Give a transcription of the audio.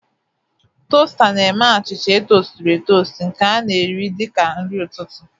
Toasta na-eme achịcha etosturu-etostu nke a na-eri dị ka nri ụtụtụ.